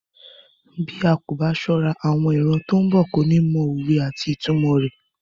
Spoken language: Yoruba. Bí a ko ba sọ́ra, àwọn ìran tí ó ń bọ̀ kò ní mọ òwe àti ìtumò rẹ.